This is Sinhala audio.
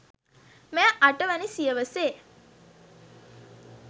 මෙය අට වැනි සියවසේ